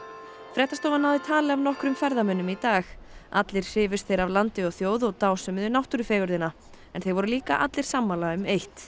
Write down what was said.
fréttastofa náði tali af nokkrum ferðamönnum í dag allir hrifust þeir af landi og þjóð og dásömuðu náttúrufegurðina þeir voru líka allir sammála um eitt